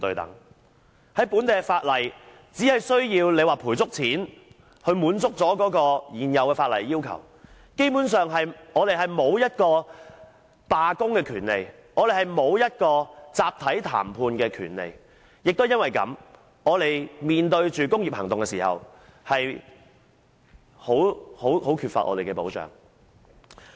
根據本地的法例，只需要作出足夠賠償，便可滿足現有法例的要求，基本上我們沒有罷工的權利，亦沒有集體談判的權利，也由於這原因，當我們面對工業行動時便十分缺乏保障。